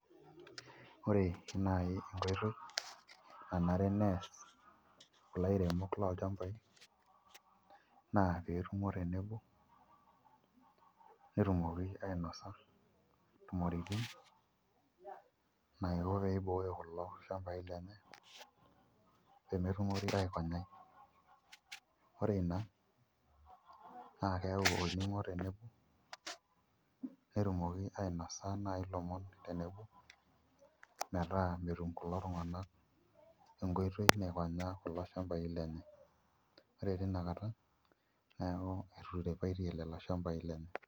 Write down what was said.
Ore naai enkoitoi nanare nees kulo airemok lolchambai naa pee etumo tenebo netumoki ainasa intumoritin naiko pee ibooyo kulo shambaai lenye pee metumokini aikonyai ore ina naa keyau olning'o tenebo netumoki ainosa naai ilomon tenebo metaa metum kulo tung'anak enkoitoi naikonyaa kulo shambai lenye, ore tina kata neeku etiripaitie lelo shambai lenye.